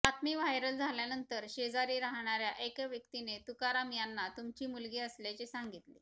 बातमी व्हायरल झाल्यानंतर शेजारी राहणाऱ्या एका व्यक्तीने तुकाराम यांना तुमची मुलगी असल्याचे सांगितले